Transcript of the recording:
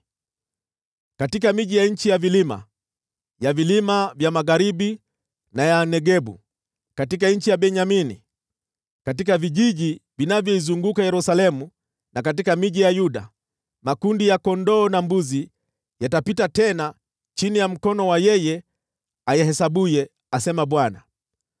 Katika miji ya nchi ya vilima, ya vilima vya magharibi na ya Negebu, katika nchi ya Benyamini, katika vijiji vinavyoizunguka Yerusalemu na katika miji ya Yuda, makundi ya kondoo yatapita tena chini ya mkono wa yeye ayahesabuye,’ asema Bwana .